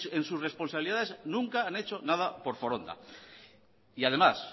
en sus responsabilidades nunca han hecho anda por foronda y además